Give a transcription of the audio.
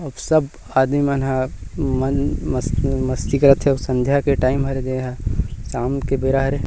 सब आदमी मन ह मन मस्ती करत हे संधिया के टाइम हरे शाम के बेरा हरे--